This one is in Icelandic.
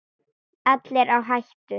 Allir á hættu.